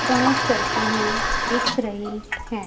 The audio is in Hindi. डांस करती हुई दिख रही हैं।